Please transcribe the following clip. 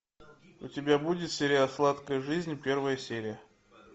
у тебя будет сериал сладкая жизнь первая серия